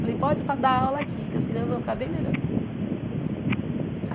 Falei, pode para dar aula aqui, que as crianças vão ficar bem melhor.